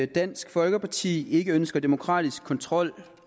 dansk folkeparti ikke ønsker demokratisk kontrol